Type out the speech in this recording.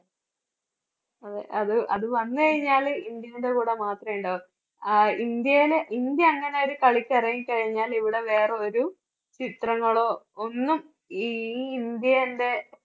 അതെ അത്, അത് വന്നു കഴിഞ്ഞാല് ഇന്ത്യയുടെ കൂടെ മാത്രമേ ഉണ്ടാകൂ. ആഹ് ഇന്ത്യയില് ഇന്ത്യ അങ്ങനെ ഒരു കളിക്ക് ഇറങ്ങിക്കഴിഞ്ഞാൽ ഇവിടെ വേറെ ഒരു ചിത്രങ്ങളോ ഒന്നും ഈ, ഈ ഇന്ത്യന്റെ